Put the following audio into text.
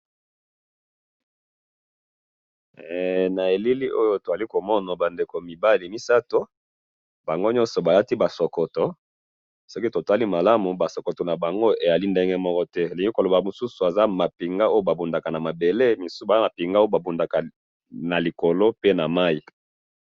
Na moni mapinga misatu, oyo ya mabele na likolo pe na mai.